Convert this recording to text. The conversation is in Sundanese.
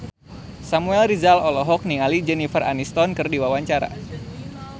Samuel Rizal olohok ningali Jennifer Aniston keur diwawancara